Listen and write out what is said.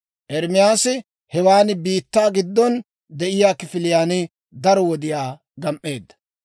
Ermaasi hewan biittaa giddon de'iyaa kifiliyaan daro wodiyaa gam"eedda.